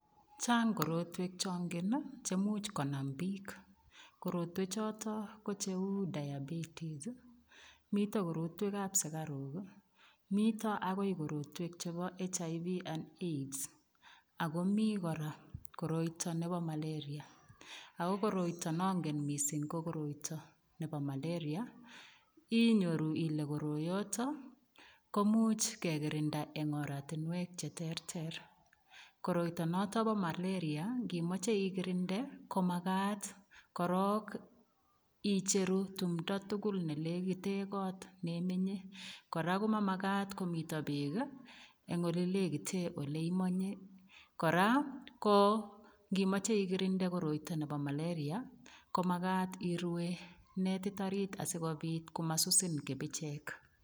Chang korotwek changen chotok ko cheu diabetis, mito chebo sukaruk akomi akot nebo HIV and Aids akomi koroita nebo malaria. Ako nangen mising kokoroita nebo malaria inyoru ile koroyotok komuch kekirinda eng oratinwek cheterter. koroita notok bo malaria ngimachje igirinde ko makat korok icheru timto tugul nemi yelegite kot neimenye. Kora komamakat komito beek eng elelekite oleimenye. Kora ko ngimache ikirinde koroita nebo malaria komakatn irue netit orit asikobit komasusin kipichek.